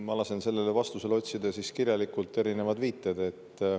Ma lasen teile välja otsida ja kirjalikult saata erinevad viited.